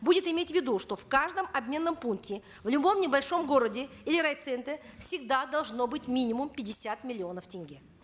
будет иметь в виду что в каждом обменном пункте в любом небольшом городе или райцентре всегда должно быть минимум пятьдесят миллионов тенге